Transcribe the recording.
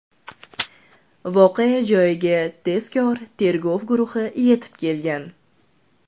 Voqea joyiga tezkor tergov guruhi yetib kelgan.